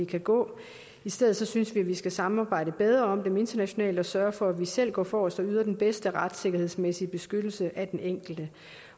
kan gå i stedet synes vi skal samarbejde bedre om dem internationalt og sørge for selv at gå forrest og yde den bedste retssikkerhedsmæssige beskyttelse af den enkelte